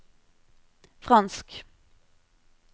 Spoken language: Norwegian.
fransk